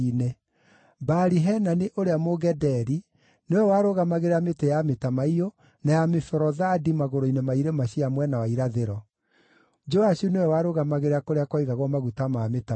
Baali-Hanani ũrĩa Mũgederi nĩwe warũgamagĩrĩra mĩtĩ ya mĩtamaiyũ na ya mĩborothandi magũrũ-inĩ ma irĩma cia mwena wa irathĩro. Joashu nĩwe warũgamagĩrĩra kũrĩa kwaigagwo maguta ma mĩtamaiyũ.